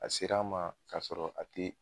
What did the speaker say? A sera an ma k'a sɔrɔ a te